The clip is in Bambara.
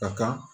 A ka